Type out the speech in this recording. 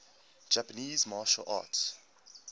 japanese martial arts